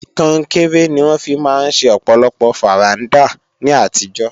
Kọnkéré ni wọ́n fi máa ń ṣe ọ̀pọ̀lọpọ̀ fàrándà ní àtijọ́